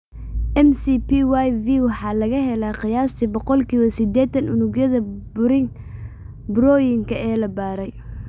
MCPyV waxaa laga helaa qiyaastii boqolkiba sidetaan unugyada burooyinka ee la baaray.